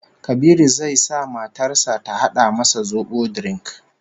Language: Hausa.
Kabiru zai sa matar sa ta hada masa zobo drink